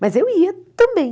Mas eu ia também.